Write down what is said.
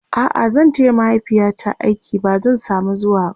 a'a zan taya mahaifiyata aiki ba zan samu zuwaba